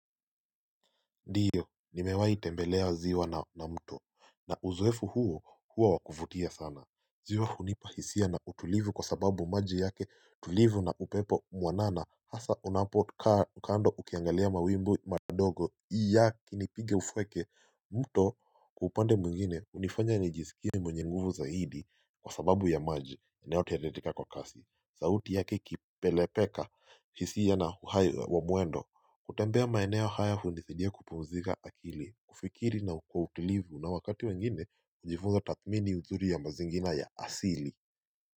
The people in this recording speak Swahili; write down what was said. Ndiyo, nimewahi tembelea ziwa na mto, na uzoefu huo huwa wakufutia sana. Ziwa hunipa hisia na utulivu kwa sababu maji yake tulivu na upepo mwanana hasa unapo kaa kando ukiangalia mawimbu madogo iya kinipige ufweke. Mto kupande mwingine unifanya nijisikia mwenye nguvu zaidi kwa sababu ya maji inayotidetika kwa kasi sauti yake ikipelepeka hisiya na huayu wa mwendo kutembea maeneo haya undithidia kupumzika akili kufikiri na kwa utilivu na wakati wengine njifunza tatmini uzuri ya mazingina ya asili.